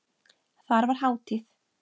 Þar var hátíð.